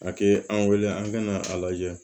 A ki an wele an bɛna a lajɛ